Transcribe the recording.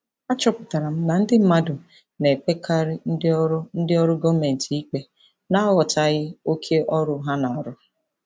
Achọpụtara m na ndị mmadụ na-ekpekarị ndị ọrụ ndị ọrụ gọọmentị ikpe n'aghọtaghị oke ọrụ ha na-arụ.